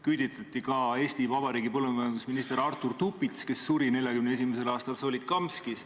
Küüditati ka Eesti Vabariigi põllumajandusminister Artur Tupits, kes suri 1941. aastal Solikamskis.